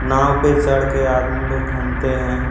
नाँव पे चढ़ के आदमी लोग घुमते है।